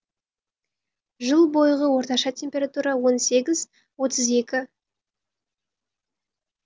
жыл бойғы орташа температура он сегіз отыз екі с